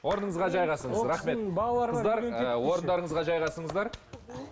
орныңызға жайғасыңыз рахмет орындарыңызға жайғасыңыздар мхм